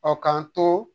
Ɔ k'an to